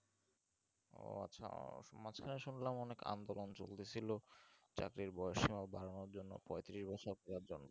ও আচ্ছা মাঝখানে শুনলাম অনেক আন্দোলন চলতে ছিল চাকরির বয়স সীমা বাড়ানোর জন্য পঁয়ত্রিশ বছর বাড়ানোর জন্য